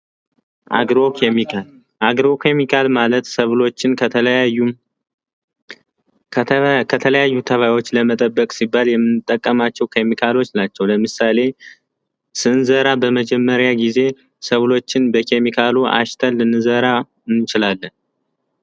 አግሮ ኬሚካል አግሮ ኬሚካል ማለት ሰብሎችን ከተለያዩ ተባዮች ለመጠበቅ ሲባል የምንጠቀማቸው ኬሚካሎች ናቸው። ለምሳሌ ስንዘራ በመጀመሪያ ጊዜ ሰብሎችን በኬሚካሉ አሽተን ልንዘራ እንችላለን።